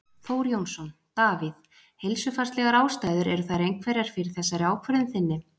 Þór Jónsson: Davíð, heilsufarslegar ástæður eru þær einhverjar fyrir þessari ákvörðun þinni?